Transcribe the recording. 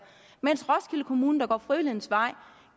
mens roskilde kommune der går frivillighedens vej